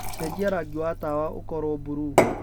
cenjĩa rangĩ wa tawa ũkorwo burũũ